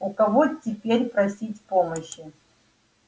у кого теперь просить помощи